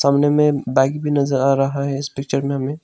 कोने में बाइक भी नजर आ रहा है इस पिक्चर में हमें।